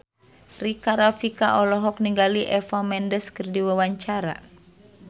Rika Rafika olohok ningali Eva Mendes keur diwawancara